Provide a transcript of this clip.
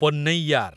Ponnaiyar